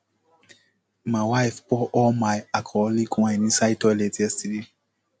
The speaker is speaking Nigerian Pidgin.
my wife pour all my alcoholic wine inside toilet yesterday